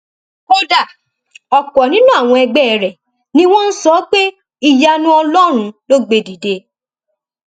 kódà ọpọ nínú àwọn ẹgbẹ rẹ ni wọn ń sọ pé ìyanu ọlọrun ló gbé e dìde